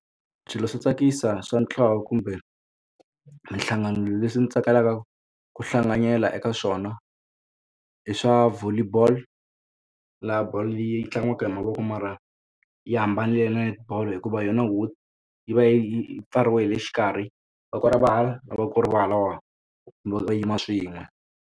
Swilo swo tsakisa swa ntlawa kumbe minhlangano leswi ndzi tsakelaka ku hlanganyela eka swona i swa Volleyball la ball leyi tlangiwaka hi mavoko mara yi hambanile na netibolo hikuva yona ho yi va yi pfariwe hi le xikarhi voko ri va hala voko ri va halawani no yima swin'we.